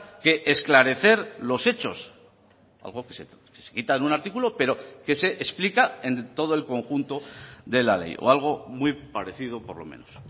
que esclarecer los hechos algo que se quita en un artículo pero que se explica en todo el conjunto de la ley o algo muy parecido por lo menos